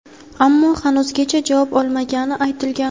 ammo hanuzgacha javob olmagani aytilgan.